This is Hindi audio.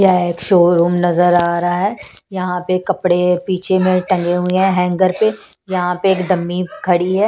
यह एक शोरूम नजर आ रहा है यहां पे कपड़े पीछे में टंगे हुए हैंगर पे यहां पे एक दम्मी खड़ी है।